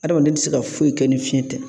Adamaden tɛ se ka foyi kɛ ni fiɲɛ tɛ